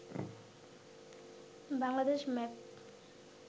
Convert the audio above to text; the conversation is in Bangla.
বাংলাদেশ মেপ